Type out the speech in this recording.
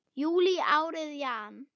júlí árið jan.